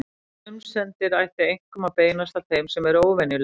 Grunsemdir ættu einkum að beinast að þeim sem eru óvenjulegir.